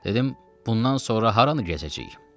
Dedim bundan sonra haranı gəzəcəyik?